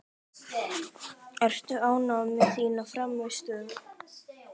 Ertu ánægð með þína frammistöðu?